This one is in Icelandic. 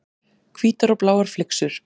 Hvítar og bláar flyksur.